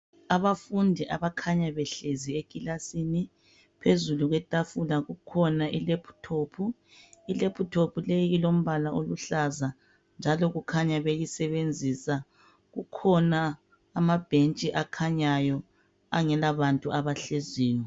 Abafundi abakhanya behlezi ekilasini. Phezulu kwetafila kukhona ilaptop. Ilaptop leyi ilombala oluhlaza njalo kukhanya beyisebenzisa. Kukhona amabhentshi akhanyayo angela bantu abahleziyo.